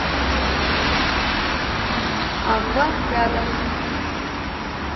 аква рядом